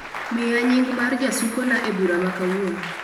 Miya nying mar jasukona e bura ma kawuono